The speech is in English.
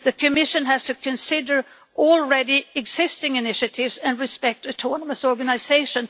The Commission has to consider already existing initiatives and respect their autonomous organisation.